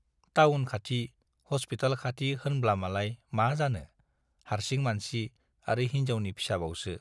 Town खाथि, hospital खाथि होनब्लामालाय मा जानो, हार्सिं मानसि आरो हिन्जावनि फिसाबावसो।